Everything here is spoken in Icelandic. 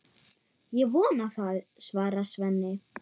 Ég vona það, svarar Svenni.